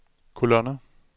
kolonner